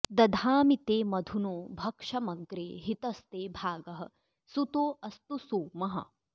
दधामि ते मधुनो भक्षमग्रे हितस्ते भागः सुतो अस्तु सोमः